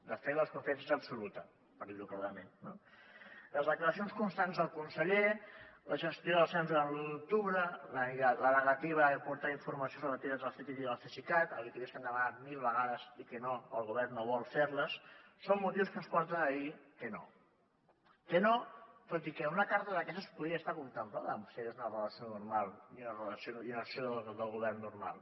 de fet la desconfiança és absoluta per dir ho clarament no les declaracions constants del conseller la gestió del cens durant l’u d’octubre la negativa d’aportar informacions relatives al ctiti i al cesicat auditories que hem demanat mil vegades i que el govern no vol fer les són motius que ens porten a dir que no que no tot i que una carta d’aquestes podria estar contemplada si hi hagués una relació normal i una acció del govern normal